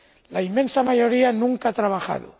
La inmensa mayoría nunca ha trabajado.